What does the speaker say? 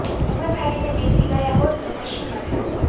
હિંમત હારીને બેસી ગયા હોત તો કશું ન થાત